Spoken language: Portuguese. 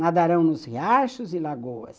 Nadarão nos riachos e lagoas.